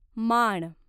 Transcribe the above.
माण